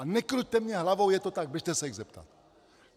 A nekruťte mi hlavou , je to tak, běžte se jich zeptat!